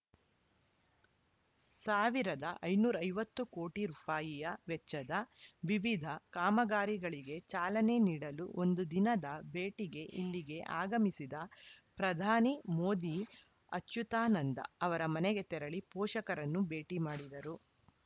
ಒಂದು ಐದುನೂರ ಐವತ್ತು ಕೋಟಿ ರುಪಾಯಿಯ ವೆಚ್ಚದ ವಿವಿಧ ಕಾಮಗಾರಿಗಳಿಗೆ ಚಾಲನೆ ನೀಡಲು ಒಂದು ದಿನದ ಭೇಟಿಗೆ ಇಲ್ಲಿಗೆ ಆಗಮಿಸಿದ ಪ್ರಧಾನಿ ಮೋದಿ ಅಚುತಾನಂದ ಅವರ ಮನೆಗೆ ತೆರಳಿ ಪೋಷಕರನ್ನು ಭೇಟಿ ಮಾಡಿದರು